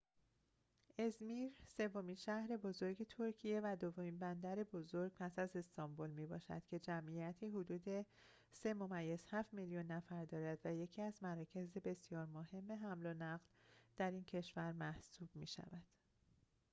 ازمیر سومین شهر بزرگ ترکیه و دومین بندر بزرگ پس از استانبول می‌باشد که جمعیتی حدود ۳.۷ میلیون نفر دارد و یکی از مراکز بسیار مهم حمل و نقل در این کشور محسوب می‌شود